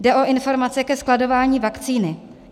Jde o informace ke skladování vakcíny.